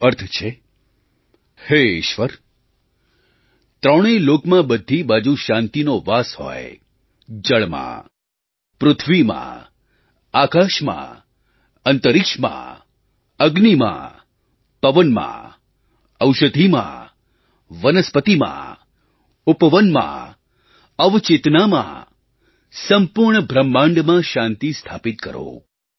તેનો અર્થ છે હે ઈશ્વર ત્રણેય લોકમાં બધી બાજુ શાંતિનો વાસ હોય જળમાં પૃથ્વીમાં આકાશમાં અંતરિક્ષમાં અગ્નિમાં પવનમાં ઔષધિમાં વનસ્પતિમાં ઉપવનમાં અવચેતનમાં સંપૂર્ણ બ્રહ્માંડમાં શાંતિ સ્થાપિત કરો